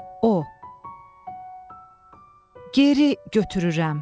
O, geri götürürəm.